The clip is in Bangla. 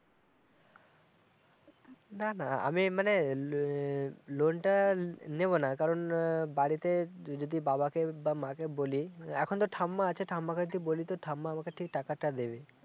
না না আমি মানে এ ল-লোন টা লেবনা কারণ বাড়িতে যদি বাবাকে বা মাকে বলি এখন তো ঠাম্মা আছে ঠাম্মা কে যদি বলি তো ঠাম্মা আমাকে ঠিক টাকাটা দেবে